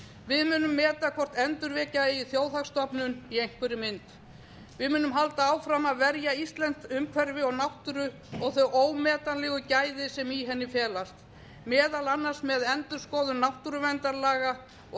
við munum meta hvort endurvekja eigi þjóðhagsstofnun í einhverri mynd við munum halda áfram að verja íslenskt umhverfi og náttúru og þau ómetanlegu gæði sem í henni felast meðal annars með endurskoðun náttúruverndarlaga og